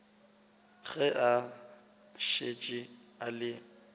ge a šetše a le